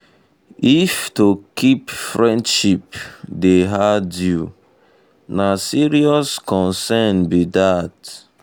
um if to keep friendship dey hard you na serious concern be that.